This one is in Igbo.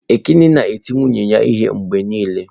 Ekene na-eti nwunye ya ihe mgbe niile.